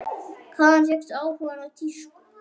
Hvaðan fékkstu áhugann á tísku?